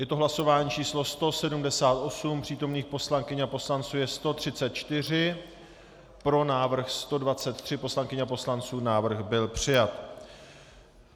Je to hlasování číslo 178, přítomných poslankyň a poslanců je 134, pro návrh 123 poslankyň a poslanců, návrh byl přijat.